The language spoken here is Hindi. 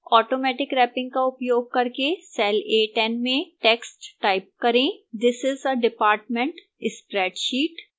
automatic wrapping का उपयोग करके cell a10 में text type करेंthis is a department spreadsheet